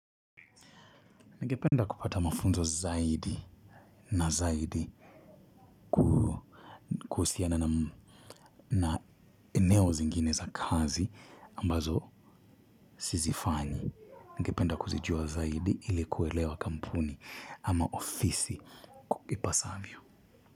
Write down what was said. Nipenda kupata mafunzo zaidi na zaidi kuhususiana na eneo zingine za kazi ambazo sizifanyi. Ningependa kuzijua zaidi ili kuelewa kampuni ama ofisi kwa i kipasavyo.